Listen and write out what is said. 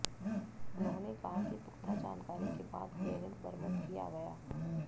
उन्होंने कहा कि पुख्ता जानकारी के बाद ग्रेनेड बरमद किया गया